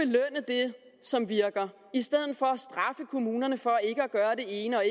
som virker i stedet for at straffe kommunerne for ikke at gøre det ene og